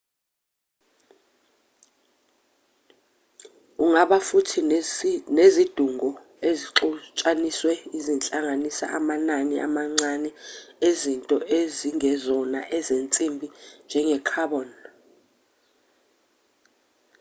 ungaba futhi nezidungo ezixutshanisiwe ezihlanganisa amanani amancane ezinto ezingezona ezensimbi njenge-carbon